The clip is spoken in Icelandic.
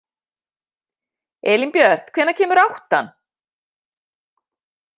Elínbjört, hvenær kemur áttan?